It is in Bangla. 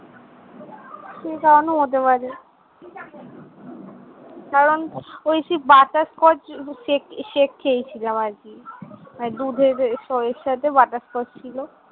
সেই কারণেও হতে পারে। কারণ ওই সেই butterscotchshake, shake খেয়েছিলাম আরকি। মানে দুধের যে সরের সাথে butterscotch ছিল।